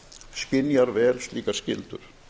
skynjar vel slíkar skyldur